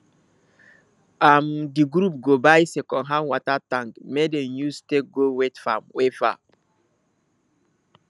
um di group go buy second hand water tank make dem use take go wet farm we far